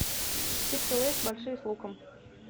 чипсы лейс большие с луком